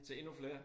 Til endnu flere